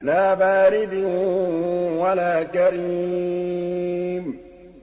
لَّا بَارِدٍ وَلَا كَرِيمٍ